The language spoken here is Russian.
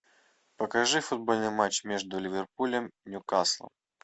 покажи футбольный матч между ливерпулем и ньюкаслом